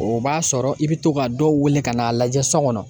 O b'a sɔrɔ i bɛ to ka dɔw wele ka n'a lajɛ so kɔnɔ.